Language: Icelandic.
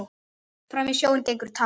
Fram í sjóinn gengur tá.